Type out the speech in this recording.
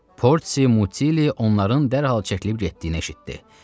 Porsi Mutilli onların dərhal çəkilib getdiyini eşitdi.